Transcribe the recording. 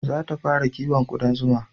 Za ta fara kiwon kuɗan zuma